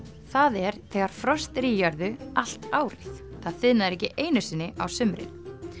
það er þegar frost er í jörðu allt árið það þiðnar ekki einu sinni á sumrin